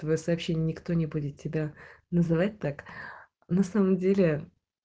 твоё сообщение никто не будет тебя называть так на самом деле